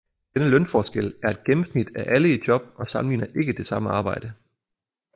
Denne lønforskel er et gennemsnit af alle i job og sammenligner ikke det samme arbejde